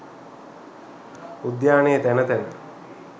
උද්‍යානයේ තැන තැන